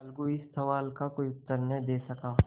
अलगू इस सवाल का कोई उत्तर न दे सका